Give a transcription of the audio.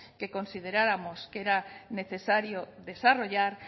que consideráramos que era necesario desarrollar